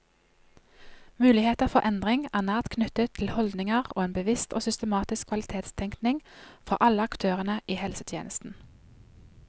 Muligheter for endring er nært knyttet til holdninger og en bevisst og systematisk kvalitetstenkning fra alle aktørene i helsetjenesten.